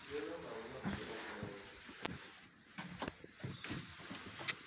yelanaho na u shela mulenzhe